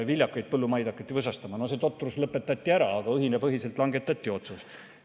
Viljakaid põllumaid hakati võsastama – no see totrus lõpetati ära, aga õhinapõhiselt oli langetatud otsus.